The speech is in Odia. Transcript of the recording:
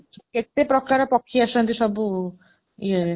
କେତେ ପ୍ରକାର ପକ୍ଷୀ ଆସନ୍ତି ସବୁ, ଇଏ..